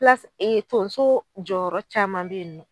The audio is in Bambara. ee tonso jɔyɔrɔ caman be yen nɔ.